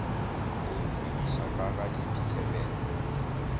go ntsebiša ka ga diphihlelelo